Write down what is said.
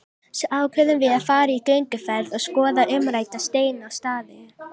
Svo ákveðum við að fara í gönguferð og skoða umrædda steina og staði.